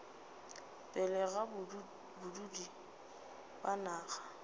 pele ga badudi ba naga